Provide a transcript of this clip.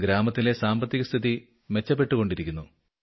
ഗ്രാമത്തിലെ സാമ്പത്തികസ്ഥിതി മെച്ചപ്പെട്ടുകൊണ്ടിരിക്കുന്നു